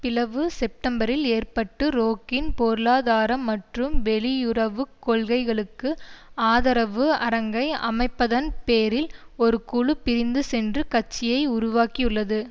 பிளவு செப்டம்பரில் ஏற்பட்டு ரோக்கின் பொருளாதார மற்றும் வெளியுறவு கொள்கைகளுக்கு ஆதரவு அரங்கை அமைப்பதன் பேரில் ஒரு குழு பிரிந்து சென்று கட்சியை உருவாக்கியுள்ளது